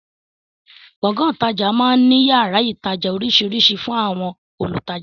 Gbọ̀ngán ìtajà máa ń ní yàrá ìtajà oríṣiríṣi fún àwọn olùtajà